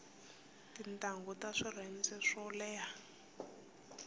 tintangu ta swirhenze swo leha